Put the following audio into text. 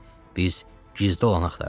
Biz gizdə olanı axtarırıq.